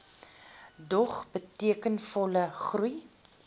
dog betekenisvolle groei